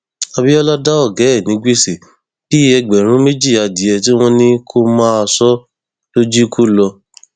abiola dá ọgá ẹ ní gbèsè bíi ẹgbẹrún méjì adìẹ tí wọn ní kó máa sọ ló jí kó lọ